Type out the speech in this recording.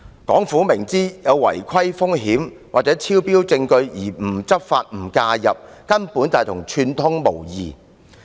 港府明知有違規風險或顯示超標的證據而不執法亦不介入，根本與串通無異。